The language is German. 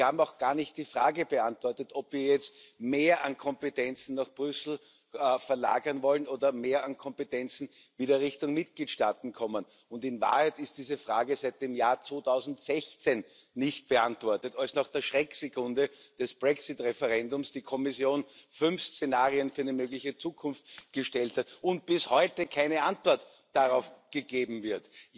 Sie haben auch gar nicht die Frage beantwortet, ob wir jetzt mehr an Kompetenzen nach Brüssel verlagern wollen oder mehr an Kompetenzen wieder Richtung Mitgliedstaaten kommen. In Wahrheit ist diese Frage seit dem Jahr 2016 nicht beantwortet, als nach der Schrecksekunde des Brexit Referendums die Kommission fünf Szenarien für eine mögliche Zukunft gestellt hat und bis heute keine Antwort darauf gegeben wird.